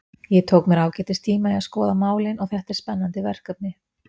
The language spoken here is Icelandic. Ég tók mér ágætis tíma í að skoða málin og þetta er spennandi verkefni.